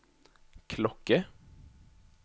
klokke